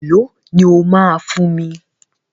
E lọ ni ó ma fún mi?